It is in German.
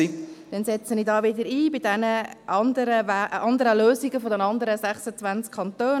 Dann setze ich wieder ein bei den anderen Lösungen der anderen 26 Kantone: